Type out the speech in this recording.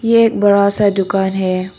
ये एक बड़ा सा दुकान है।